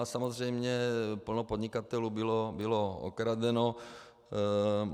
A samozřejmě plno podnikatelů bylo okradeno.